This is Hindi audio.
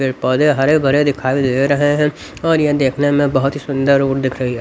पेड़ पौधे हरे भरे दिखाई दे रहे हैं और यह देखने में बहुत सुंदर ही दिख रही है।